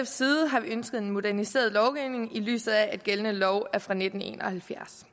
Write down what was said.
side har vi ønsket en moderniseret lovgivning i lyset af at gældende lov er fra nitten en og halvfjerds